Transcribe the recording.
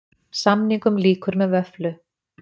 Samningum lýkur með vöfflu